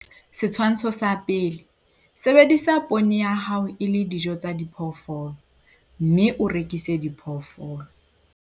Setshwantsho sa 1. Sebedisa poone ya hao e le dijo tsa diphoofolo, mme o rekise diphoofolo.